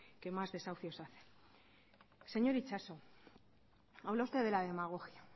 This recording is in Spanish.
que más desahucios hacen señor itxaso habla usted de la demagogia